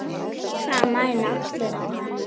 Það mæna allir á hana.